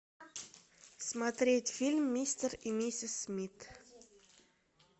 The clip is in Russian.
смотреть фильм мистер и миссис смит